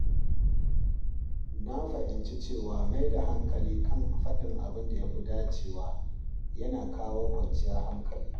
Na fahimci cewa mai da hankali kan faɗin abinda yafi dacewa yana kawo kwanciyar hankali.